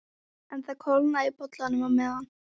En það kólnaði í bollanum á meðan